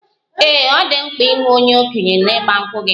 Ee, ọ dị mkpa inwe onye okenye na igba nkwu gị?